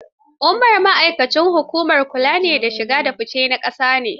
Umar ma'aikacin hukumar kula da shige da fice na ƙasa ne.